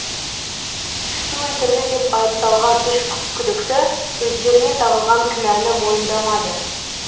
кісі өлтірді деп айыпталған үш күдікті өздеріне тағылған кінәні мойындамады